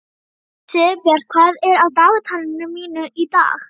Sigurbjört, hvað er á dagatalinu mínu í dag?